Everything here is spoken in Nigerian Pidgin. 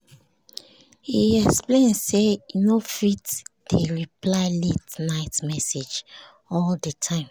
he explain say e no fit dey reply late-night message all the time